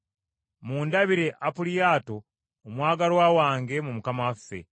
Mundabire Ampuliyaato omwagalwa wange mu Mukama waffe.